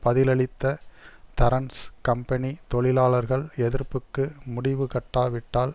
பதிலளித்த தரன்ஸ் கம்பனி தொழிலாளர்கள் எதிர்ப்புக்கு முடிவுகட்டாவிட்டால்